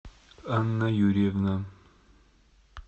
анна юрьевна